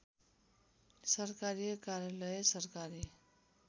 सरकारी कार्यालय सरकारी